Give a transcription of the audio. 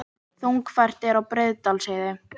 Þungfært er á Breiðdalsheiði